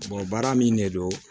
baara min de don